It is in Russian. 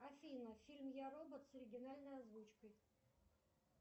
афина фильм я робот с оригинальной озвучкой